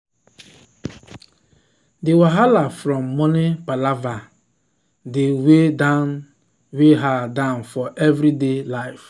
the wahala from money palava dey weigh dey weigh her down for everyday life.